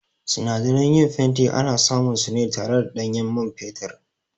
Sinadaran yin fenti ana samun su ne tare da ɗanyen man fetur